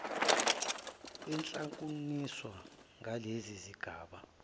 yehlukaniswa ngalezi zigaba